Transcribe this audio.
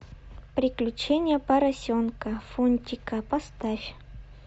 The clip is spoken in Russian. приключения поросенка фунтика поставь